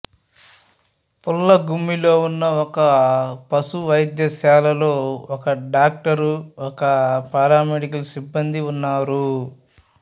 పుల్లగుమ్మిలో ఉన్న ఒక పశు వైద్యశాలలో ఒక డాక్టరు ఒకరు పారామెడికల్ సిబ్బందీ ఉన్నారు